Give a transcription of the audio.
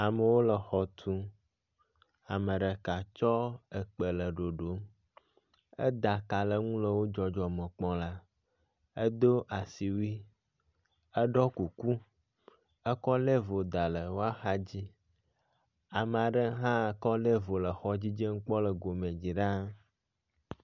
Amewo le xɔ tum. Ame ɖeka tsɔ ekpe le ɖoɖom. Eda ka ɖe eŋu le wo dzɔdzɔme kpɔm ɖa. Edo asiwui, eɖɔ kuku, ekɔ level da ɖe woaxa dzi. Ame aɖe hã kɔ level le xɔ dzidzem kpɔ le gome dzi ɖaa.